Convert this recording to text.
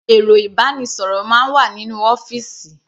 Ẹ̀rọ ìbánisọ̀rọ̀ máa ń wà nínú ọ́fìsì.